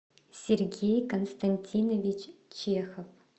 сергей константинович чехов